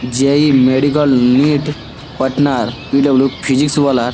জ.ই medical NEET partner PW. Physics ওয়ালার ।